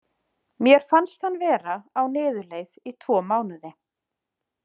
Mér fannst hann vera á niðurleið í tvo mánuði.